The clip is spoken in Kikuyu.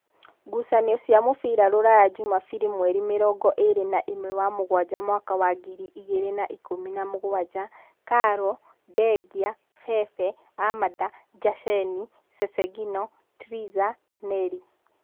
Ngucanio cia mũbira Ruraya Jumabiri mweri mĩrongoĩrĩ naĩmwe wa mũgwanja mwaka wa ngiri igĩrĩ na ikũmi na mũgwanja: Karo, Ndengia, Bebe, Amada, Njasheni, Cecengino, Triza, Neli